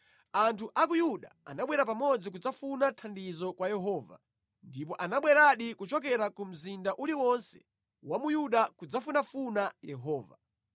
Anthu a ku Yuda anabwera pamodzi kudzafuna thandizo kwa Yehova, ndipo anabweradi kuchokera ku mzinda uliwonse wa mu Yuda kudzafunafuna Yehova.